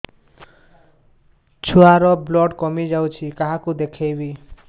ଛୁଆ ର ବ୍ଲଡ଼ କମି ଯାଉଛି କାହାକୁ ଦେଖେଇବି